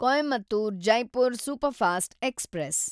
Coimbatore Jaipur superfast express